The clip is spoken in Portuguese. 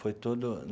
Foi todo.